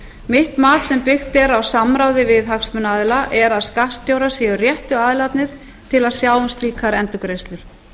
mitt mat sem byggt er á samráði við hagsmunaaðila er að skattstjórar séu réttu aðilarnir til að sjá um slíkar endurgreiðslur